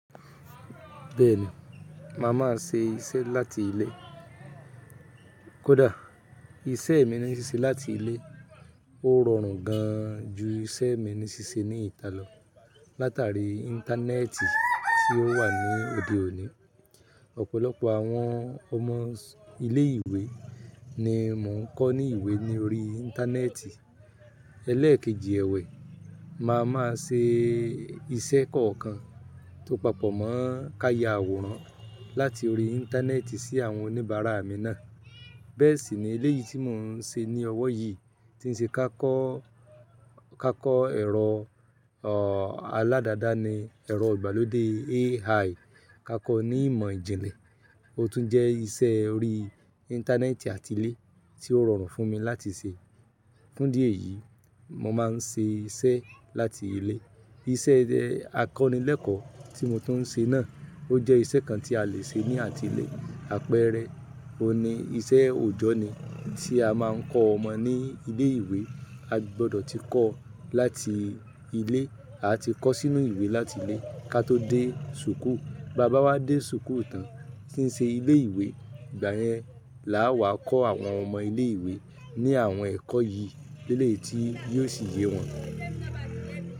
Bẹ́ẹ̀ni, màá máa ṣe iṣẹ́ láti ilé. Kódà iṣẹ́ mi ní ṣíṣe láti ilé ó rọrùn gan jú iṣẹ́ mi ní ṣíṣe ní ìta lọ. Látàrí Íńtánẹ́ẹ̀tì tí ó wà ní òde òní, ọ̀pọ̀lọpọ̀ àwọn ọmọ ilé ìwé ni mò ń kọ́ ní ìwé ní orí Íńtánẹ́ẹ̀tì. Élékèjì ẹwẹ, màá máa ṣe iṣẹ́ kọ̀ọ̀kan tó papọ̀ mọọ ká ya àwòrán láti orí Íńtánẹ́ẹ̀tì sí àwọn oníbàárà mi náà. Bẹ́ẹ̀ sì ni eléyìí tí mò ń ṣe ní ọwọ́ yìí tí ń ṣe ká kọ́, ká kọ́ ẹ̀rọ ọ̀ aládáàdáni ẹ̀rọ ìgbàlódé AI ká kọ́ ní ìmọ̀ ìjìnlẹ̀. Ó tún jẹ́ isẹ́ orí Íńtánẹ́ẹ̀tì àti ilé tí ó rọrùn fún mi láti ṣe. Fún dí èyìí mo máa ń ṣe iṣẹ́ láti ilé. Iṣẹ́ akọ́nilẹ́ẹ̀kọ́ tí mo tuń ṣe náà ó jẹ́ isẹ́ kan tí a lè ṣe ní àti ilé. Àpẹẹrẹ, óun ní isẹ́ òòjọ́ ni tí a máa ń kọ́ ọmọ ní ilé ìwé, a gbọdọ̀ ti kọ́ láti ilé. A ti kọ sínú ìwé láti ilé kí a tó dé súkù. Bà bá wa dé súkù ìta tí ń ṣe ilé ìwé, ìgbà yẹn làá wá kọ́ àwọn ọmọ ilé ìwé ní àwọn ẹ̀kọ́ yìí lélẹ̀ yii tí yóò ṣì yé wọn.